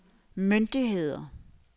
myndigheder